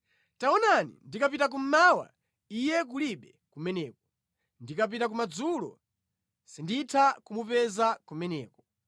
“Taonani, ndikapita kummawa, Iye kulibe kumeneko, ndikapita kumadzulo sinditha kumupeza kumeneko.